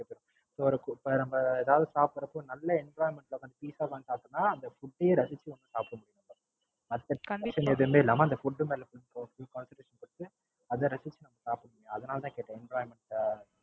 இப்ப, இப்ப நாம ஏதாவது வந்து சாப்பிடறப்ப நல்ல Environment ல உட்கார்ந்து பீட்சா சாப்பிடறம்னா அந்த Food ஏ நாம ரசிச்சு சாப்பிடனும். Condition எதுவுமே இல்லாம அந்த Food மேல Full concentration ஓட அத ரசிச்சு நாம சாப்பிடனும். அதனால தான் கேட்டேன். Envioranment,